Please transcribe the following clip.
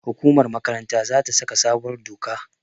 hukumar makaranta za ta saka sabuwar doka